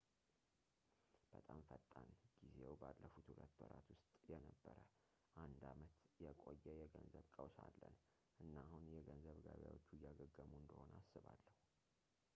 በጣም ፈጣን ጊዜው ባለፉት ሁለት ወራት ውስጥ የነበረ አንድ ዓመት የቆየ የገንዘብ ቀውስ አለን እና አሁን የገንዘብ ገበያዎቹ እያገገሙ እንደሆን አስባለሁ